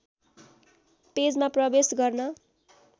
पेजमा प्रवेश गर्न